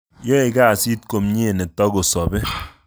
Yoe kasit komye netokosobe